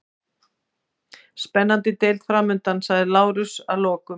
Spennandi deild framundan, sagði Lárus að lokum.